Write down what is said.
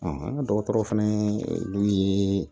an ka dɔgɔtɔrɔ fana dun ye